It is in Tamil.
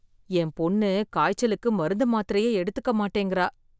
என் பொண்ணு காய்ச்சலுக்கு மருந்து மாத்திரையே எடுத்துக்க மாட்டேங்குற